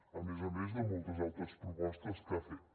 a més a més de moltes altres propostes que ha fet